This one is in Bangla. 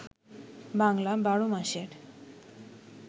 বাংলা ১২ মাসের